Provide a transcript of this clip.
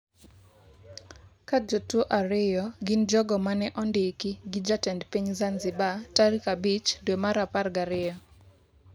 Ka jotuwo ariyo gin jogo ma ne ondiki gi jatend piny Zanzibar tarik 5 dwe mar apar gi ariyo.